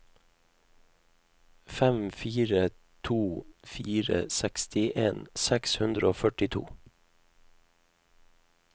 fem fire to fire sekstien seks hundre og førtito